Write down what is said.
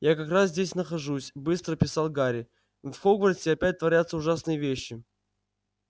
я как раз здесь нахожусь быстро писал гарри в хогвартсе опять творятся ужасные вещи